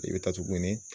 I bɛ taa tuguni